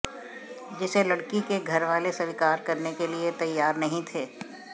जिसे लड़की के घरवाले स्वीकार करने के लिए तैयार नहीं थे